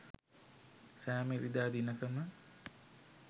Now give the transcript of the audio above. සෑම ඉරිදා දිනකම